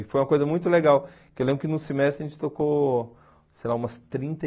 E foi uma coisa muito legal, porque eu lembro que no semestre a gente tocou, sei lá, umas trinta e